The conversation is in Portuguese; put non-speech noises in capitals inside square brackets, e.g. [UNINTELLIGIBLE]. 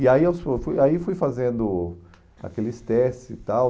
E aí [UNINTELLIGIBLE] aí fui fazendo aqueles testes e tal.